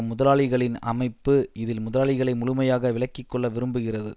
முதலாளிகளின் அமைப்பு இதில் முதலாளிகளை முழுமையாக விலக்கி கொள்ள விரும்புகிறது